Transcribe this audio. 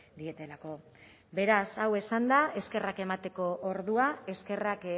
dietelako beraz hau esanda eskerrak emateko ordua eskerrak